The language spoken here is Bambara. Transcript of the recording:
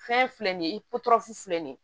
Fɛn filɛ nin ye filɛ nin ye